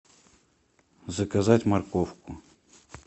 заказать морковку